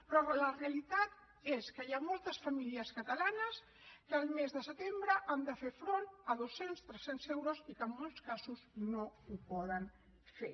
però la realitat és que hi ha moltes famílies catalanes que el mes de setembre han de fer front a dos cents tres cents euros i que en molts casos no ho poden fer